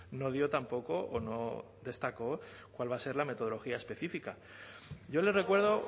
no dio tampoco o no destacó cuál va a ser la metodología específica yo le recuerdo